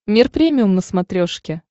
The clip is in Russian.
мир премиум на смотрешке